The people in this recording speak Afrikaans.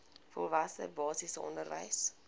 volwasse basiese onderwys